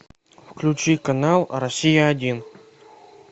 включи канал россия один